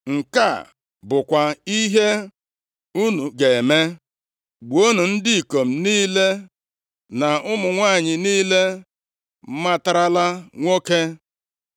Nke a bụkwa ihe unu ga-eme, “Gbuonụ ndị ikom niile na ụmụ nwanyị niile matarala nwoke.”